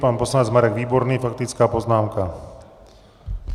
Pan poslanec Marek Výborný, faktická poznámka.